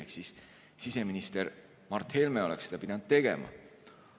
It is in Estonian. Ehk seda oleks pidanud tegema siseminister Mart Helme.